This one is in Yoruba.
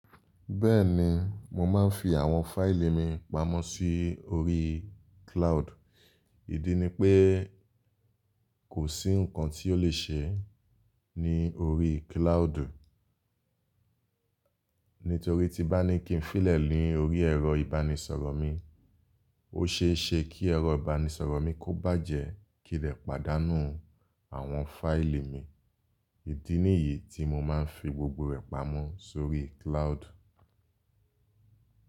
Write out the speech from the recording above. Bẹ́ẹ̀ni, mo máa ń fi àwọn fáìlì mi pamọ́ si ori cloud. Ìdí ni pé kò sí nǹkan tí ó le ṣe ní orí cloud. Nítorí tí bá ní kí n fílẹ̀ lórí ẹ̀rọ ìbánisọ̀rọ̀ mi, ó ṣe é ṣe kí ẹ̀rọ ìbánisọ̀rọ̀ mi kó bàjẹ́ kí dẹ̀ pàdánù àwọn fáìlì mi. Ìdí nìyí tí mo máa ń fi gbogbo rẹ̀ pamọ́ sórí cloud.